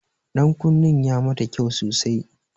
Ɗankunnen ya mata kyau sosai.